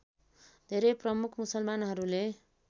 धेरै प्रमुख मुसलमानहरूले